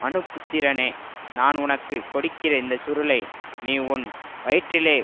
மனுபுத்திரனே நான் உனக்கு கொடுக்கிற இந்த சுருளை நீ உன் வயிற்றிலே